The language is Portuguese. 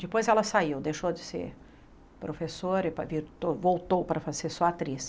Depois ela saiu, deixou de ser professora e e voltou para ser só atriz.